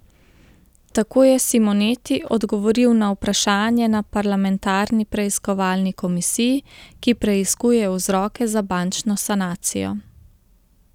Tako je Simoneti odgovoril na vprašanje na parlamentarni preiskovalni komisiji, ki preiskuje vzroke za bančno sanacijo.